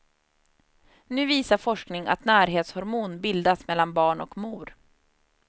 Nu visar forskning att närhetshormon bildas mellan barn och mor.